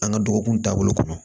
An ka dɔgɔkun taabolo kɔnɔ